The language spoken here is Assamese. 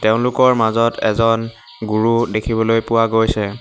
তেওঁলোকৰ মাজত এজন গুৰু দেখিবলৈ পোৱা গৈছে।